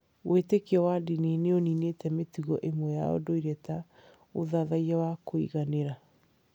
Wĩtĩkio wa ndini nĩ ũniinĩte mĩtugo ĩmwe ya ũndũire ta ũthathaiya wa kũiganĩra.